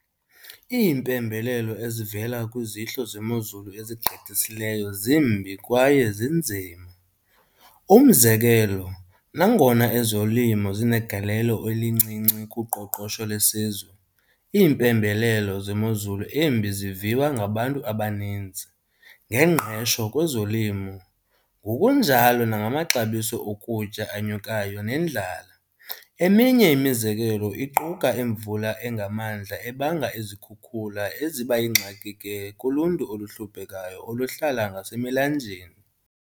Iimpembelelo ezivela kwizihlo zemozulu ezigqithisileyo zimbi kwaye zinzima. Umzekelo, nangona ezolimo zinegalelo elincinci kuqoqosho lesizwe, iimpembelelo zemozulu embi ziviwa ngabantu abaninzi, nengqesho kwezolimo ngokunjalo nangamaxabiso okutya anyukayo nendlala. Eminye imizekelo iquka imvula engamandla ebanga izikhukhula eziba yingxaki ke kuluntu oluhluphekayo oluhlala ngase milanjeni.